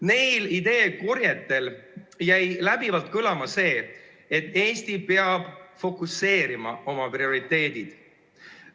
Neil ideekorjetel jäi kõlama see, et Eesti peab fokuseerima oma prioriteedid.